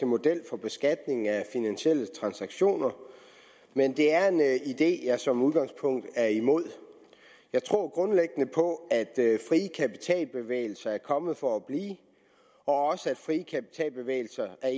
model for beskatning af finansielle transaktioner men det er en idé jeg som udgangspunkt er imod jeg tror grundlæggende på at frie kapitalbevægelser er kommet for at blive og at frie kapitalbevægelser er